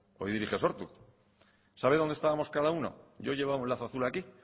hoy dirige sortu sabe donde estábamos cada uno yo llevaba un lazo azul aquí y